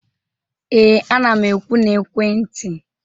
ee, ana m ekwu na ekwentị